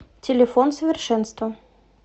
телефон совершенство